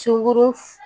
Sogo f